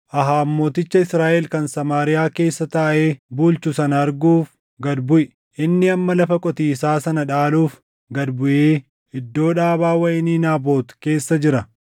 “Ahaab mooticha Israaʼel kan Samaariyaa keessa taaʼee bulchu sana arguuf gad buʼi. Inni amma lafa qotiisaa sana dhaaluuf gad buʼee iddoo dhaabaa wayinii Naabot keessa jira.